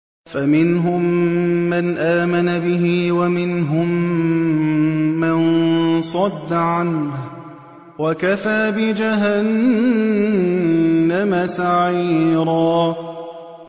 فَمِنْهُم مَّنْ آمَنَ بِهِ وَمِنْهُم مَّن صَدَّ عَنْهُ ۚ وَكَفَىٰ بِجَهَنَّمَ سَعِيرًا